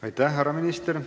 Aitäh, härra minister!